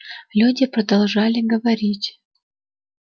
люди продолжали говорить